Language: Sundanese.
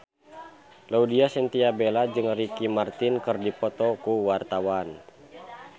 Laudya Chintya Bella jeung Ricky Martin keur dipoto ku wartawan